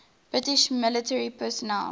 british military personnel